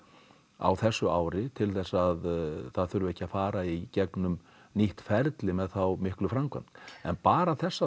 á þessu ári til að það þurfi ekki að fara í gegnum nýtt ferli með þá miklu framkvæmd en bara þessar